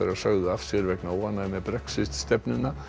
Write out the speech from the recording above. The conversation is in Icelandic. sögðu af sér vegna óánægju með Brexit stefnuna